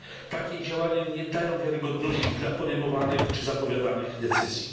Takie działania nie dają wiarygodności dla podejmowanych czy zapowiadanych decyzji.